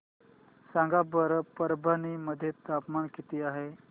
सांगा बरं परभणी मध्ये तापमान किती आहे